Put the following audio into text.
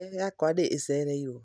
Ndege yakwa nĩ ĩcererirũo.